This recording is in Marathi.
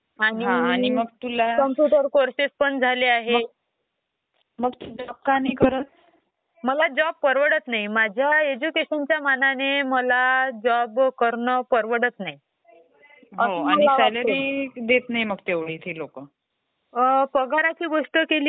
स्टोर करून ठेऊ शकतो. त्याला होल्ड वगैरे करणं, व्यवस्थित अरेंजमेंट करणं त्याची, तर एक्सेलमध्ये तर ते व्यवस्थित होईल. आणि टाईप करण्यात पण जो कीबोर्ड असतो, तो पण इझिली वापरला जातो.